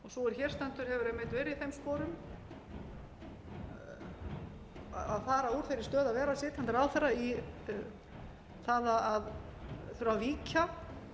hér stendur hefur einmitt verið í þeim sporum að fara úr þeirri stöðu að vera sitjandi ráðherra í það að þurfa að víkja